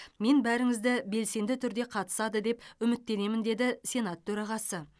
мен бәріңізді белсенді түрде қатысады деп үміттенемін деді сенат төрағасы